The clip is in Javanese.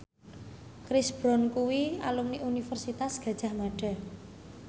Chris Brown kuwi alumni Universitas Gadjah Mada